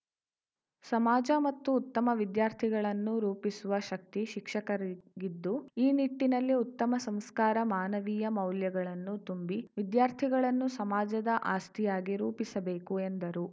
ಸಮಾಜ ಮತ್ತು ಉತ್ತಮ ವಿದ್ಯಾರ್ಥಿಗಳನ್ನು ರೂಪಿಸುವ ಶಕ್ತಿ ಶಿಕ್ಷಕರಿಗಿದ್ದು ಈ ನಿಟ್ಟಿನಲ್ಲಿ ಉತ್ತಮ ಸಂಸ್ಕಾರ ಮಾನವೀಯ ಮೌಲ್ಯಗಳನ್ನು ತುಂಬಿ ವಿದ್ಯಾರ್ಥಿಗಳನ್ನು ಸಮಾಜದ ಆಸ್ತಿಯಾಗಿ ರೂಪಿಸಬೇಕು ಎಂದರು